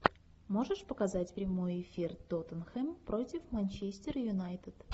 можешь показать прямой эфир тоттенхэм против манчестер юнайтед